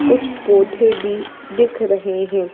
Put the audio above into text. कुछ पौधे भी दिख रहे हैं।